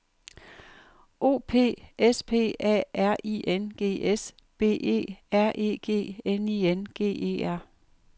O P S P A R I N G S B E R E G N I N G E R